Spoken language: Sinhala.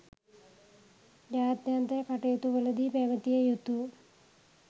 ජාත්‍යන්තර කටයුතුවලදී පැවතිය යුතු